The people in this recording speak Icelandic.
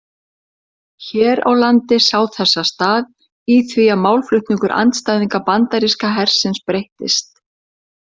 Hér á landi sá þessa stað í því að málflutningur andstæðinga bandaríska hersins breyttist.